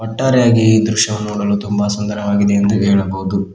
ಒಟ್ಟಾರೆಯಾಗಿ ಈ ದೃಶ್ಯವು ನೋಡಲು ತುಂಬಾ ಸುಂದರವಾಗಿದೆ ಎಂದು ಹೇಳಬಹುದು.